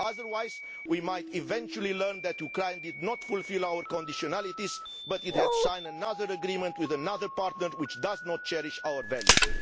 Otherwise, we might eventually learn that Ukraine did not fulfil our conditionalities but it signed another agreement with another partner which does not cherish our values.